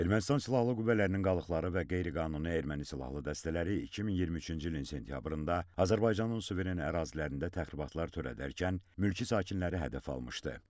Ermənistan silahlı qüvvələrinin qalıqları və qeyri-qanuni erməni silahlı dəstələri 2023-cü ilin sentyabrında Azərbaycanın suveren ərazilərində təxribatlar törədərkən mülki sakinləri hədəf almışdı.